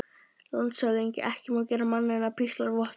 LANDSHÖFÐINGI: Ekki má gera manninn að píslarvotti.